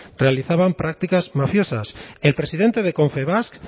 realizaban prácticas mafiosas el presidente de confebask